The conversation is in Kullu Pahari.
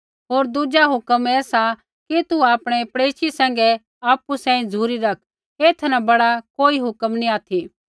होर दुज़ा हुक्म ऐ सा कि तू आपणै पड़ेशी सैंघै आपु सांही झ़ुरी रैख ऐथा न बड़ा कोई हुक्म नैंई ऑथि